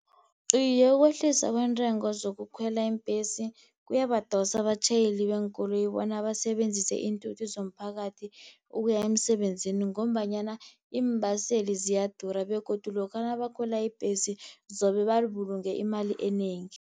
Iye, ukwehliswa kweentengo zokukhwela iimbhesi, kuyabadosa abatjhayeli beenkoloyi bona basebenzise iinthuthi zomphakathi, ukuya emsebenzini ngombanyana iimbaseli ziyadura, begodu lokha nabakhwela ibhesi zobe babulunge imali enengi.